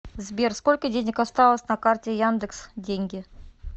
сбер сколько денег осталось на карте яндекс деньги